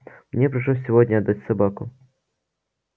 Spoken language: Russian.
мне пришлось сегодня отдать собаку